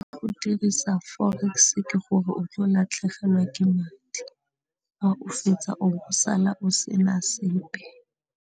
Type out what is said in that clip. Go dirisa forex-e ke gore o tlo latlhegelwa ke madi a o fetsa o sala o se na sepe.